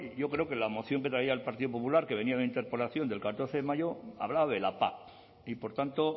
yo creo que la moción que traía el partido popular que venía de una interpelación del catorce de mayo hablaba de la pac y por tanto